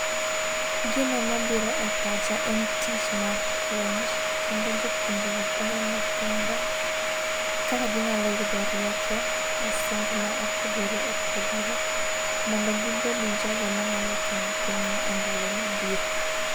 Gino mabiro e pacha en tich mar puonj kendo jopuonje go puonjo nyithindo kaka ginyalo yudo rieko e somb ma opogore opogore mondo gibed jogo manyalo konyo pinywa e ndalo mabiro.